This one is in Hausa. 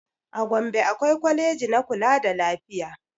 A gombe akwai kwaleji na kula da lafiya